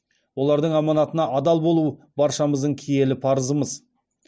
олардың аманатына адал болу баршамыздың киелі парызымыз